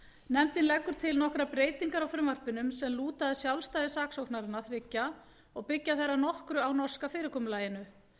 nefndin leggur til nokkrar breytingar á frumvarpinu sem lúta að sjálfstæði saksóknaranna þriggja og byggir þær að nokkru á norska fyrirkomulaginu